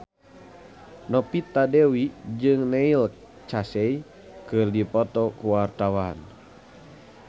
Novita Dewi jeung Neil Casey keur dipoto ku wartawan